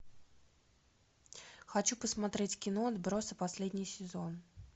хочу посмотреть кино отбросы последний сезон